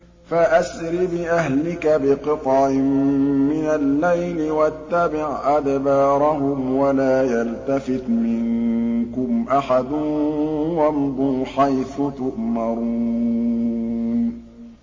فَأَسْرِ بِأَهْلِكَ بِقِطْعٍ مِّنَ اللَّيْلِ وَاتَّبِعْ أَدْبَارَهُمْ وَلَا يَلْتَفِتْ مِنكُمْ أَحَدٌ وَامْضُوا حَيْثُ تُؤْمَرُونَ